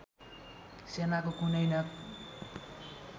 सेनाको कुनै न